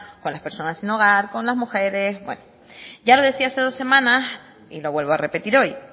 con las personas sin hogar con las mujeres ya lo decía hace dos semanas y lo vuelvo a repetir hoy